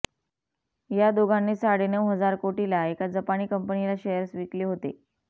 या दोघांनी साडेनउ हजार कोटीला एका जपानी कंपनीला शेअर्स विकले होते